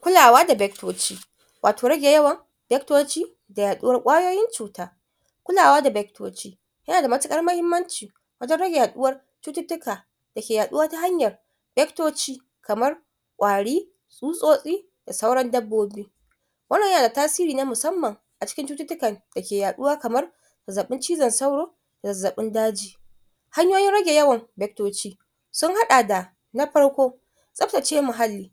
Kulawa da bectoci, wato rage yawan bectoci da yaɗuwar ƙwayoyin cuta. Kulawa da bectoci yana da matuƙar mahimmanci, wajen rage yaɗuwar cututtuka da ke yaɗuwa ta hanyar bectoci kamar ƙwari, tsutsotsi, da sauran dabbobi, wannan yana da tasiri na musamman a cikin cututtukan da ke yaɗuwa kamar zaɓɓin cizon sauro, zazzaɓin daji, hanyoyin rage yawan bectoci sun haɗa da na farko, tsaftace muhalli,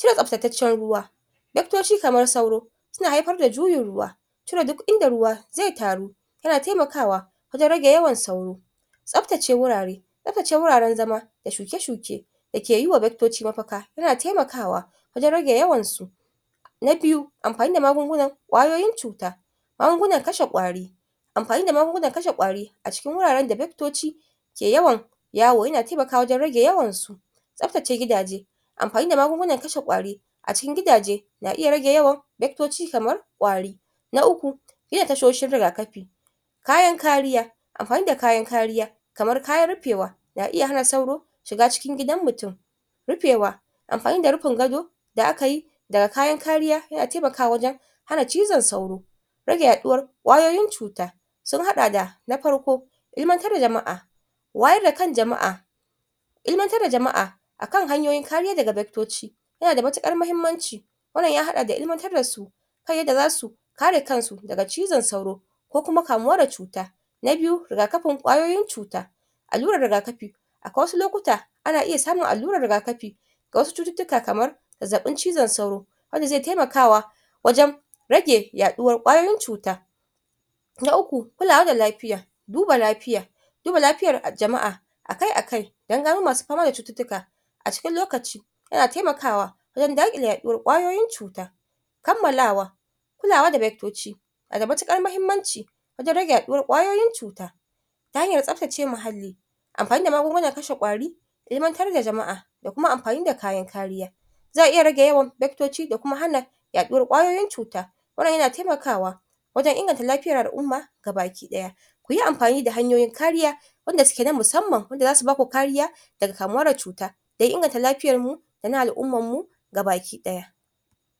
shan tsaftataccen ruwa bectoci kamar sauro suna haifar da juyin ruwa cire duk inda ruwa zai taru yana taimakawa wajen rage yawan sauro, tsaftace wurare tsaftace wuraren zama da shuke-shuke da ke yiwa bectoci mafaka yana taimakawa wajen rage yawan su. Na biyu amfani da magungunan ƙwayoyin cuta magungunan kashe ƙwari, amfani da magungunan kashe ƙwari, a cikin wuraren da bectoci ke yawan yawo yana taimakawa wajen rage yawan su, tsaftace gidaje amfani da magungunan kashe ƙwari a cikin gidaje na iya rage yawan bectoci kamar ƙwari. Na uku, yin tashoshin rigakafi, kayan kariya, amfani da kayan kariya, kamar kayan rufewa na iya hana sauro shiga cikin gidan mutum, rufewa, amfani da rufin gado da aka yi, daga kayan kariya yana taimakawa wajen hana cizon sauro, rage yaɗuwar ƙwayoyin cuta, sun haɗa da na farko, ilmantar da jama'a. Wayar da kan jama'a. Ilmantar da jama'a akan hanyoyin kariya daga bectoci, yana da matuƙar mahimmanci, wannan ya haɗa ilmantar da su, kan yadda za su kare kan su daga cizon sauro, ko kuma kamuwa da cuta. Na biyu rigakafin ƙwayoyin cuta, allurar rigakafi akwai wasu lokuta ana iya samun allurar rigakafi, ga wasu cututtuka kamar zazzaɓin cizon sauro, wanda zai taimakawa wajen rage yaɗuwar ƙwayoyin cuta. Na uku, kulawa da lafiya, duba lafiya, duba lafiyar jama'a, a kai a kai don gano masu fama da cututtuka a cikin lokaci yana taimakawa wajen daƙile yaɗuwar ƙwayoyin cuta. Kammalawa, kulawa da bectoci na da matuƙar mahimmanci, wajen rage yaɗuwar ƙwayoyin cuta, ta hanyar tsaftace muhalli, amfani da magungunan kashe ƙwari ilmantar da jama'a da kuma amfani da kayan kariya, zai iya rage yawan bectoci da kuma hana yaɗuwar ƙwayoyin cuta, wannan yana taimakwa, wajen inganta lafiyar al'umma ga ga baki ɗaya, ku yi amfani da hanyoyin kariya wanda suke na musamman, wanda za su ba ku kariya daga kamuwa da cuta don inganta lafiyar mu, da na al'ummar mu ga baki ɗaya.